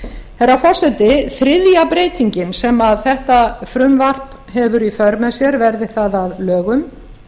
herra forseti þriðja breytingin sem þetta frumvarp hefur í för með sér verði það að lögum